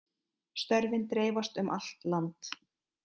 Störfin dreifast um allt land